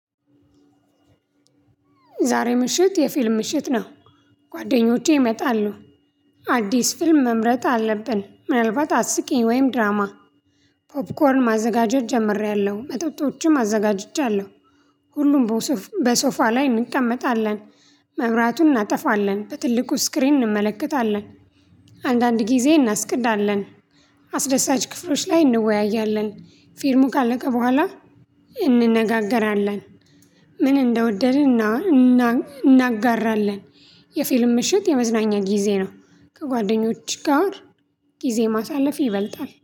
ዛሬ ምሽት የፊልም ምሽት ነው። ጓደኞቼ ይመጣሉ አዲስ ፊልም መምረጥ አለብን ምናልባት አስቂኝ ወይም ድራማ። ፖፕኮርን ማዘጋጀት ጀምሬያለሁ መጠጦችም አዘጋጅቻለሁ። ሁሉም በሶፋ ላይ እንቀመጣለን። መብራቱን እናጠፋለን በትልቁ ስክሪን እንመለከታለን። አንዳንድ ጊዜ እናስቅዳለን። አስደሳች ክፍሎች ላይ እንወያያለን። ፊልሙ ካለቀ በኋላ እንነጋገራለን ምን እንደወደድን እናጋራለን። የፊልም ምሽት የመዝናኛ ጊዜ ነው። ከጓደኞች ጋር ጊዜ ማሳለፍ ይበልጣል